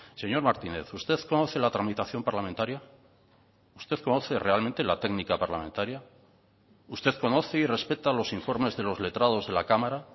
señor martínez usted conoce la tramitación parlamentaria usted conoce realmente la técnica parlamentaria usted conoce y respeta los informes de los letrados de la cámara